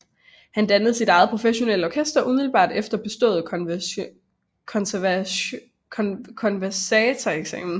Han dannede sit eget professionelle orkester umiddelbart efter bestået konservatorieeksamen